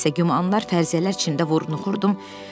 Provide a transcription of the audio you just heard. Nə isə, gümanlar fərziyələr içində vurnuxurdum.